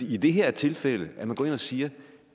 i det her tilfælde går ind og siger